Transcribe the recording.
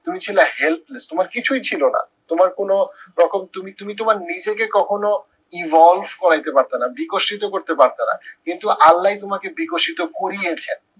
তুমি ছিলা helpless তোমার কিছুই ছিল না, তোমার কোনো রকম তুমি তুমি তোমার নিজেকে কখনো evolve করাইতে পারতা না, বিকশিত করতে পারতা না। কিন্তু আল্লাই তোমাকে বিকশিত করিয়েছেন